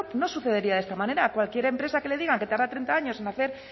no sucedería de esta manera a cualquier empresa que le digan que tarda treinta años en hacer